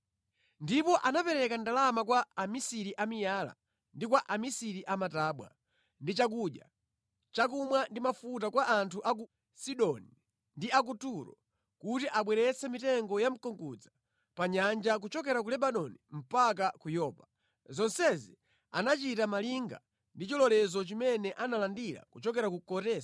Ndipo anapereka ndalama kwa amisiri a miyala ndi kwa amisiri a matabwa, ndi chakudya, chakumwa ndi mafuta kwa anthu a ku Sidoni ndi a ku Turo, kuti abweretse mitengo ya mkungudza pa nyanja kuchokera ku Lebanoni mpaka ku Yopa. Zonsezi anachita malinga ndi chilolezo chimene analandira kuchokera kwa Koresi, mfumu ya Peresiya.